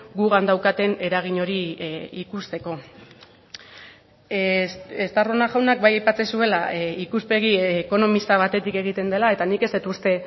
gugan daukaten eragin hori ikusteko estarrona jaunak bai aipatzen zuela ikuspegi ekonomista batetik egiten dela eta nik ez dut uste